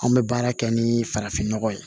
Anw bɛ baara kɛ ni farafin nɔgɔ ye